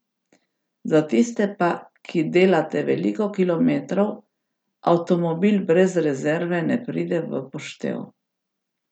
Za tiste pa, ki delate veliko kilometrov, avtomobil brez rezerve ne pride v poštev.